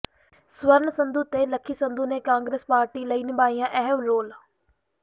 ਸਵਰਨ ਸੰਧੂ ਤੇ ਲੱਕੀ ਸੰਧੂ ਨੇ ਕਾਂਗਰਸ ਪਾਰਟੀ ਲਈ ਨਿਭਾਇਆ ਅਹਿਮ ਰੋਲ